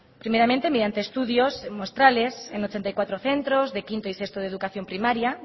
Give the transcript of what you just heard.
primeramente mediante estudios muestrales en ochenta y cuatro centros de quinto y sexto de educación primaria